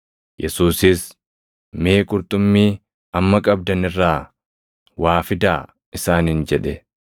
Yesuusis, “Mee qurxummii amma qabdan irraa waa fidaa!” isaaniin jedhe.